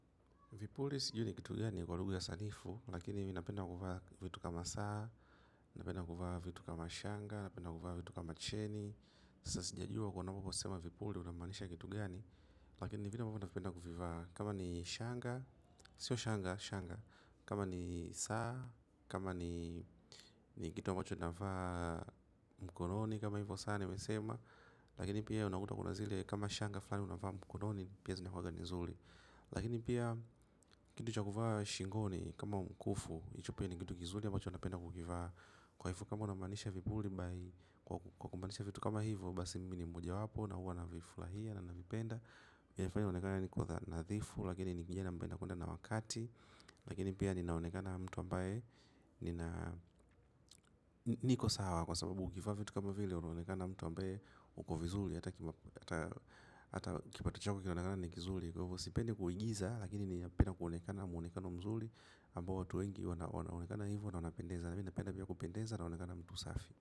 Vipuli sijui ni kitu gani kwa lugha ya sanifu, lakini mi napenda kuvaa vitu kama saa, napenda kuvaa vitu kama shanga, napenda kuvaa vitu kama cheni. Sasa sijajua kuwa unaposema vipuli unamanisha kitu gani, lakini vitu napenda kuvivaa kama ni shanga, sio shanga, shanga. Kama ni saa, kama ni kitu ambacho navaa mkononi kama hivyo saa nimesema, lakini pia unakuta kuna zile kama shanga fulani unavaa mkononi, pia zinakuanga ni izuri. Lakini pia kitu cha kuvaa shingoni kama mkufu hicho pia ni kitu kizuri ambacho napenda kukivaa kwa hivyo kama unamanisha vipuli. Kwa kuunganisha vitu kama hivo basi mimi ni mmoja wapo. Na huwa na vifurahia na navipenda. Yanifanya nionkane niko nadhifu. Lakini nikija napenda kuenda na wakati. Lakini pia ninaonekana mtu ambaye niko sawa. Kwa sababu ukivaa vitu kama vile unaonekana mtu ambaye uko vizuri. Hata kipato chako kinaonekana ni kizuri kwa hivyo. Sipendi kuigiza, lakini ni ninapenda kuonekana muonekano mzuri ambao watu wengi wanaonekana hivo na wanapendeza lakini pale hivyo kupendeza unaonekana mtu safi.